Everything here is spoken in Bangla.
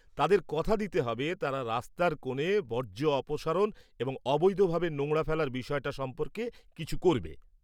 তাদের কথা দিতে হবে তারা রাস্তার কোণে বর্জ্য অপসারণ এবং অবৈধ ভাবে নোংরা ফেলার বিষয়টা সম্পর্কে কিছু করবে।